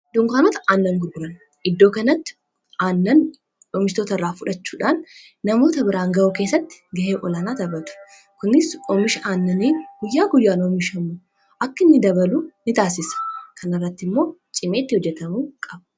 dunkaanota aannan gurguran iddoo kanatti aannan oomistoota irraa fudhachuudhaan namoota biraan ga'uu keessatti ga'ee olanaa taphatu kunis oomisha aannanii guyyaa guyyaan oomishamu akka inni dabalu ni taasisa. kanirratti immoo cimeetti hojjatamuu qab.u